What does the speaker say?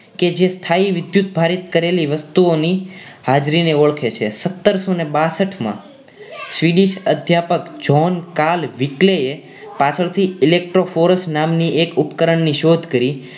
કે જે સ્થાયી વિધુતભારીત કરેલી વસ્તુઓની હાજરીને ઓળખે છે સતરસો બાસઠમાં Swedish અધ્યાપક john kal weekly એ પાછળથી electro ફોરેસ્ટ નામની એક ઉપકરણની શોધ કરી